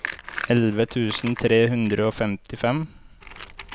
elleve tusen tre hundre og femtifem